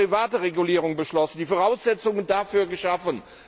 Wir haben die Derivateregulierung beschlossen, die Voraussetzungen dafür geschaffen.